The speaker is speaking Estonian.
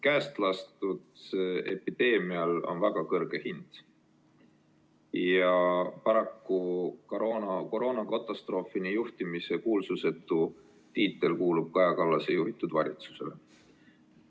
Käestlastud epideemial on väga kõrge hind ja paraku koroonakatastroofini juhtimise kuulsusetu tiitel kuulub Kaja Kallase juhitud valitsusele.